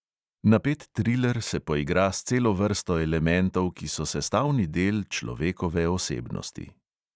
Napet triler se poigra s celo vrsto elementov, ki so sestavni del človekove osebnosti.